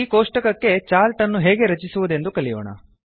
ಈ ಕೋಷ್ಟಕಕ್ಕೆ ಚಾರ್ಟ್ ಅನ್ನು ಹೇಗೆ ರಚಿಸುವುದೆಂದು ಕಲಿಯೋಣ